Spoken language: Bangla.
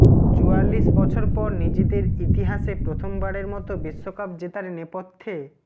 চুয়াল্লিশ বছর পর নিজেদের ইতিহাসে প্রথমবারের মতো বিশ্বকাপ জেতার নেপথ্যে